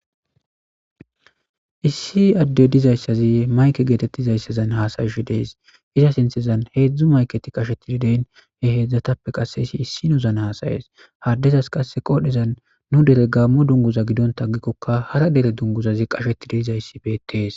Issi adey dizaysazi mayke getetizaysazan haasa'she dees. Iza sinthezan hezdzdu mayketiy qashetididees he hezdzdatappe izi issinozan hasa'es ha adezas qasse qodhezan nu dere gaammo dungguza gidontta agikoka hara dere dungguzazi qachetdii dizaysi beetes.